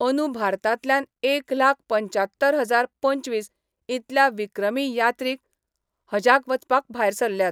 अंदु भारतांतल्यान एक लाख पंच्च्यात्तर हजार पंचवीस इतल्या विक्रमी यात्रिक हजाक वचपाक भायर सरल्यात.